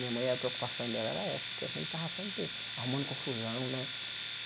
Minha mãe a preocupação dela era essa, porque a gente estava sempre arrumando confusão, né?